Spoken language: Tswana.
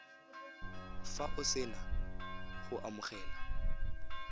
fa o sena go amogela